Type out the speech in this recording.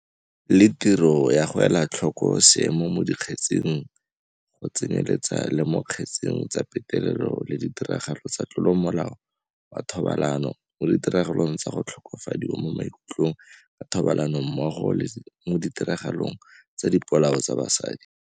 le tiro ya go ela tlhoko seemo mo di kgetseng, go tsenyeletsa le mo dikgetseng tsa petelelo le ditiragalo tsa tlolo ya molao wa thobalano, mo ditiragalong tsa go tlhokofadiwa mo maikutlong ka thobalano mmogo le mo ditiragalong tsa dipolao tsa basadi.